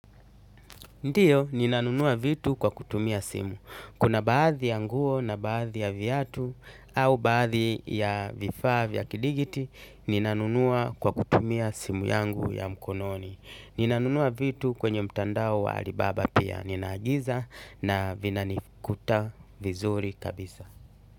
Ndiyo, ninanunua vitu kwa kutumia simu. Kuna baadhi ya nguo na baadhi ya viatu au baadhi ya vifaa vya kidigiti, ninanunua kwa kutumia simu yangu ya mkononi. Ninanunua vitu kwenye mtandao wa alibaba pia. Ninaagiza na vinanikuta vizuri kabisa.